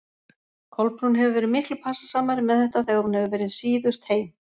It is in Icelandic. Kolbrún hefur verið miklu passasamari með þetta þegar hún hefur verið síðust heim.